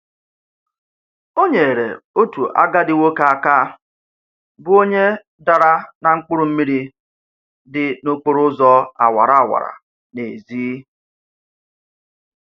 O nyeere otu agadi nwoke aka bụ onye dara na mkpụrụmmiri dị n'okporoụzọ awara awa n'ezi.